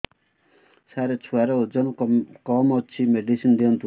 ସାର ଛୁଆର ଓଜନ କମ ଅଛି ମେଡିସିନ ଦିଅନ୍ତୁ